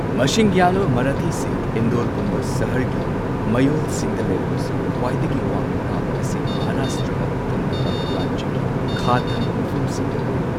ꯃꯁꯤꯡ ꯌꯥꯝꯂꯕ ꯃꯔꯥꯊꯤꯁꯤꯡ ꯏꯟꯗꯣꯔꯒꯨꯝꯕ ꯁꯍꯔꯒꯤ ꯃꯌꯣꯜꯁꯤꯡꯗ ꯂꯩꯔꯕꯁꯨ, ꯈ꯭ꯋꯥꯏꯗꯒꯤ ꯋꯥꯡꯅ ꯇꯥꯕ ꯑꯁꯤ ꯃꯍꯥꯔꯥꯁꯇ꯭ꯔꯥꯒ ꯊꯪꯅꯕ ꯔꯥꯖ꯭ꯌꯒꯤ ꯈꯥ ꯊꯪꯕ ꯃꯐꯝꯁꯤꯡꯗ ꯑꯣꯏ꯫